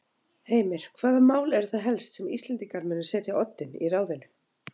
Heimir: Hvaða mál eru það helst sem Íslendingar munu setja á oddinn í ráðinu?